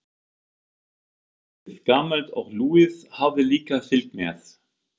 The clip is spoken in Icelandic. Trompetið, gamalt og lúið, hafði líka fylgt með.